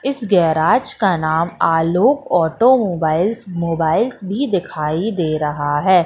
इस गैराज का नाम आलोक ऑटोमोबाइल्स मोबाइल्स भी दिखाई दे रहा हैं।